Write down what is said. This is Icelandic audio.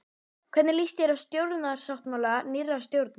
Hvernig líst þér á stjórnarsáttmála nýrrar stjórnar?